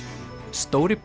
stóri